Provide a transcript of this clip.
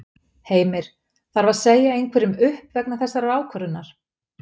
Heimir: Þarf að segja einhverjum upp vegna þessarar ákvörðunar?